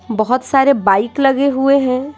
बहुत सारे बाइक लगे हुए हैं।